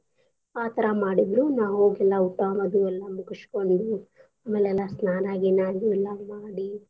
ಆ ತರಾ ಮಾಡಿದ್ರು ನಾವ್ ಹೋಗಿ ಊಟಾ ಅದೆಲ್ಲ ಮುಗಸ್ಕೋಂಡ್ವಿ ಅಮೇಲ್ ಎಲ್ಲಾ ಸ್ನಾನ ಗೀನಾ ಅದು ಎಲ್ಲಾ ಮಾಡಿ.